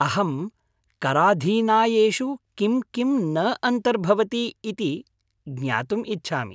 अहं कराधीनायेषु किं किं न अन्तर्भवति ति ज्ञातुम् इच्छामि।